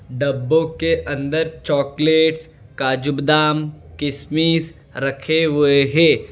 डब्बो के अंदर चॉकलेट्स काजू बादाम किशमिश रखे हुए हैं।